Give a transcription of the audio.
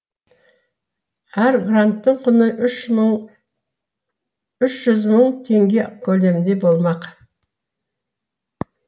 әр гранттың құны үш жүз мың теңге көлемінде болмақ